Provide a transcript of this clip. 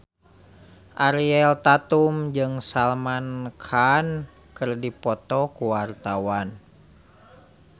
Ariel Tatum jeung Salman Khan keur dipoto ku wartawan